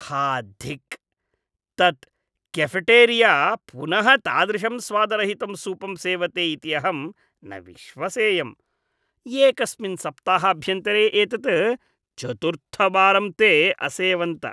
हा धिक्! तत् केफ़ेटेरिया पुनः तादृशं स्वादरहितं सूपं सेवते इति अहं न विश्वसेयम्। एकस्मिन् सप्ताहाभ्यन्तरे एतत् चतुर्थवारं ते असेवन्त।